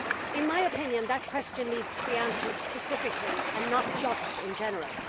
In my opinion, that question needs to be answered specifically and not just in general.